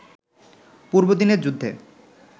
পূর্বদিনের যুদ্ধে